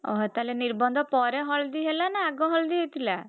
ଓହୋ ତାହେଲେ ନିର୍ବନ୍ଧ ପରେ ହଳଦୀ ହେଲା ନା ଆଗ ହଳଦୀ ହେଇଥିଲା?